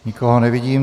Nikoho nevidím.